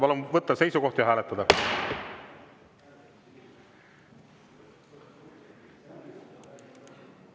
Palun võtta seisukoht ja hääletada!